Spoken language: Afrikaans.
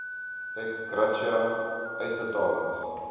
ex gratia uitbetalings